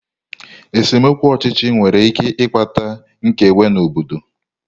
Esemokwu ọchịchị nwere ike ịkpata nkewa n'obodo.